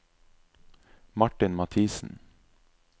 Martin Mathiesen